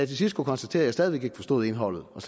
til sidst kunne konstatere at væk ikke forstod indholdet og